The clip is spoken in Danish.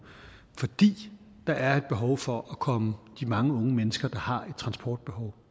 fordi der er behov for at komme de mange unge mennesker der har et transportbehov